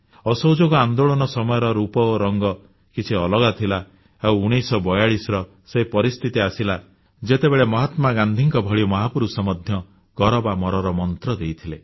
ଅସହଯୋଗ ଆନ୍ଦୋଳନ ସମୟର ରୂପରଙ୍ଗ କିଛି ଅଲଗା ଥିଲା ଆଉ 1942ର ସେ ପରିସ୍ଥିତି ଆସିଲା ଯେତେବେଳେ ମହାତ୍ମାଗାନ୍ଧୀଙ୍କ ଭଳି ମହାପୁରୁଷ ମଧ୍ୟ କର ବା ମରର ମନ୍ତ୍ର ଦେଇଦେଲେ